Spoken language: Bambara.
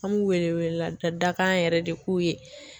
An b'u wele welela dakan yɛrɛ de k'u ye